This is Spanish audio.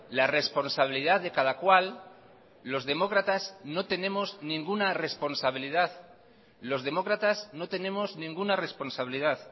la responsabilidad de cada cual los demócratas no tenemos ninguna responsabilidad los demócratas no tenemos ninguna responsabilidad